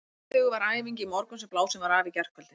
Fyrirhuguð var æfing í morgun sem blásin var af í gærkvöldi.